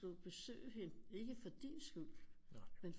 Du vil besøge hende ikke for din skyld men for